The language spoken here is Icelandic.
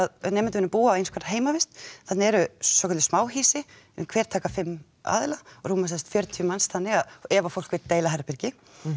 nemendurnir búa á einskonar heimavist þarna eru svokölluð smáhýsi hver taka fimm aðila rúma semsagt fjörutíu manns þannig ef að fólk vill deila herbergi